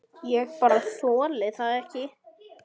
Ég bara þoli það ekki.